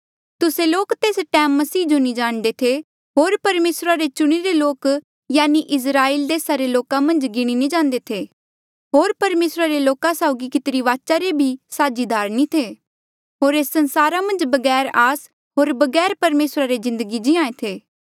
तुस्से लोक तेस टैम मसीह जो नी जाणदे थे होर परमेसरा रे चुणिरे लोक यानि इस्राएल देसा रे लोका मन्झ नी गिणी जांदे थे होर परमेसरा रे लोका साउगी कितिरी वाचा रे भी साझीदार नी थे होर एस संसारा मन्झ बगैर आस होर बगैर परमेसरा रे जिन्दगी जीये थे